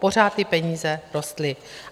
Pořád ty peníze rostly.